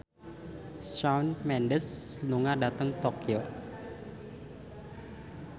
Shawn Mendes lunga dhateng Tokyo